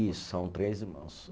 Isso, são três irmãos.